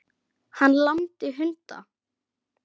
Hann lamdi hunda